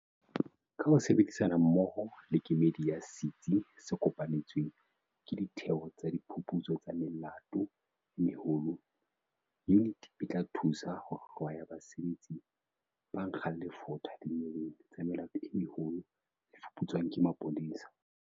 Ka ho sebedisana mmoho le kemedi ya Setsi se Kopanetsweng ke Ditheo tsa Diphuputso tsa Melato e Meholo, yuniti e tla thusa ho hlwaya basebetsi ba nkgang lefotha dinyeweng tsa melato e meholo tse fuputswang ke maponesa.